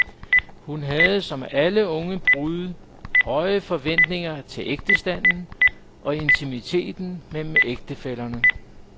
Hun havde som alle unge brude høje forventninger til ægtestanden og intimiteten mellem ægtefællerne.